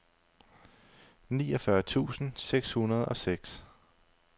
niogfyrre tusind seks hundrede og seks